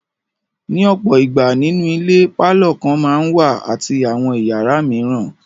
Ní ọ̀pọ̀ ìgbà, nínú ilé pálọ̀ kan máa ń wà àti àwọn ìyàrá mìíràn.